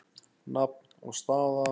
Nafn og staða?